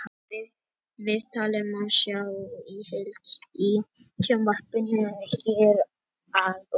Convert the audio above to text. Viðtalið má sjá í heild í sjónvarpinu hér að ofan.